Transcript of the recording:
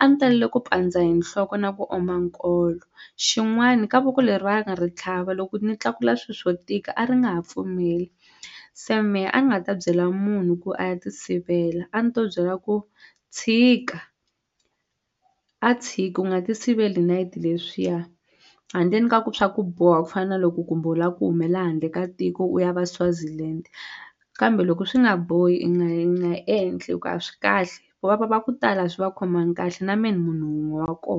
a ni talele ku pandza hi nhloko na ku oma nkolo xin'wani ka voko leri va nga ri tlhava loko ni tlakula swi swo tika a ri nga ha pfumeli se mehe a ni nga ta byela munhu ku a ya ti sivela a ni to byela ku tshika a tshiki u nga ti siveli hi nayiti leswiya handleni ka ku swa ku boha ku fana na loko kumbe u la ku humela handle ka tiko u ya va Swaziland kambe loko swi nga bohi i nga yi nga endli hi ku a swi kahle va ku tala swi va khomangi kahle na me ni munhu wun'we wa ko.